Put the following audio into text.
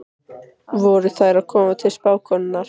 Voru þær að koma til spákonunnar?